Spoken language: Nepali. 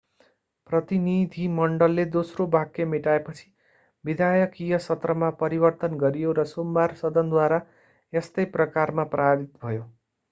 प्रतिनिधिमण्डलले दोस्रो वाक्य मेटाएपछि विधायकीय सत्रमा परिवर्तन गरियो र सोमबार सदनद्वारा यस्तै प्रकारमा पारित भयो